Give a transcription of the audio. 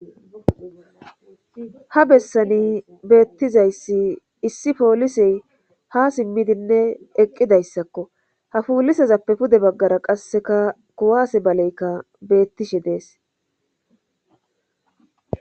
ha bessani beettizayssi issi poolisey ha simmidinne eqqidayssakko ha polisezappe pude baggara qasseka kuwaase baleykka beettishe dees